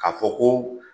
K'a fɔ ko